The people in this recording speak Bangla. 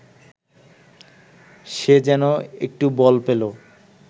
সে যেন একটু বল পেল